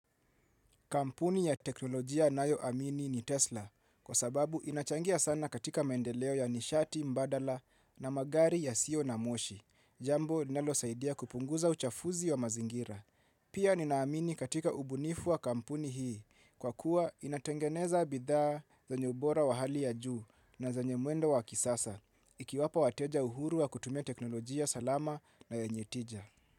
Kampuni ya teknolojia nayo amini ni Tesla, kwa sababu inachangia sana katika maendeleo ya nishati, mbadala na magari ya sio na moshi, jambo linalo saidia kupunguza uchafuzi wa mazingira. Pia ninaamini katika ubunifu wa kampuni hii, kwa kuwa inatengeneza bidhaa zenye ubora wa hali ya juu na zenye mwendo wa kisasa, ikiwapa wateja uhuru wa kutumia teknolojia salama na yenjetija.